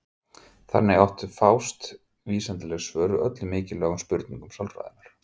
Þannig áttu að fást vísindaleg svör við öllum mikilvægum spurningum sálfræðinnar.